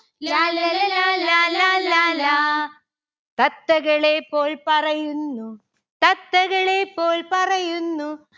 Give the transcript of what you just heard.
ലാല്ലല ലാലാ ലാലാ ലാ. തത്തകളെ പോൽ പറയുന്നു തത്തകളെ പോൽ പറയുന്നു